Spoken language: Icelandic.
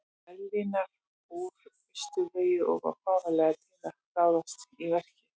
Berlínar úr austurvegi og var fáanlegur til að ráðast í verkið.